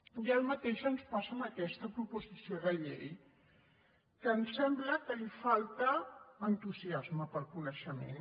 i el mateix ens passa amb aquesta proposició de llei que ens sembla que hi falta entusiasme pel coneixement